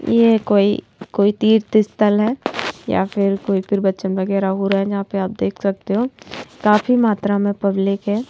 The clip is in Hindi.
ये कोई कोई तीर्थ स्थल है या फिर कोई प्रवचन वगैरह हो रहा है जहां पर आप देख सकते हो काफी मात्रा में पब्लिक है।